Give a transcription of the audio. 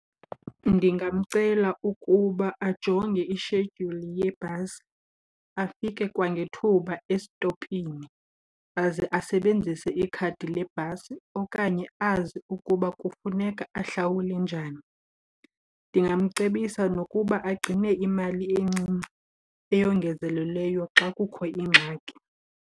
Ndingamcela ukuba ajonge ishedyuli yebhasi afike kwangethuba estopini aze asebenzise ikhadi lebhasi or okanye azi ukuba kufuneka ahlawule njani. Ndingamcebisa nokuba agcine imali encinci eyongezelelweyo xa kukho ingxaki.